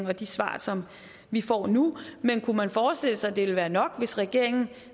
og de svar som vi får nu men kunne man forestille sig at det ville være nok hvis regeringen